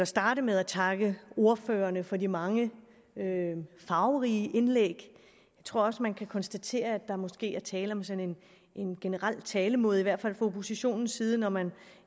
starte med at takke ordførerne for de mange farverige indlæg jeg tror også man kan konstatere at der måske er tale om sådan en generel talemåde i hvert fald fra oppositionens side når man